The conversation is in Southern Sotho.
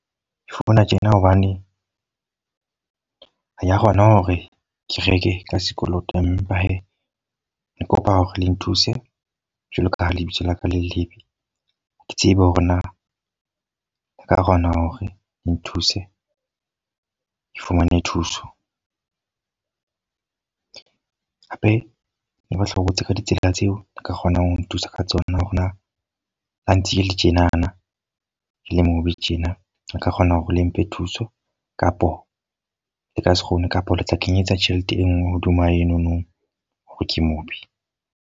Ke founa tjena hobane ha ka kgona hore ke reke ka sekoloto. Empa he ke kopa hore le nthuse. Jwalo ka ha lebitso laka le lebe. Ke tsebe hore na le ka kgona hore le nthuse, ke fumane thuso. jape ne ba hlobotse ka ditsela tseo ka kgonang ho nthusa ka tsona. Hore na ba ntse ke le tjenana na le mong tjena. Re ka kgona hore le mphe thuso kapo le ka se kgone kapa le tla kenyetsa tjhelete e nngwe hodima enono. Hore ke mo be.